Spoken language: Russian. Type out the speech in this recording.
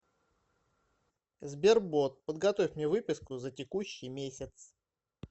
сбер бот подготовь мне выписку за текущий месяц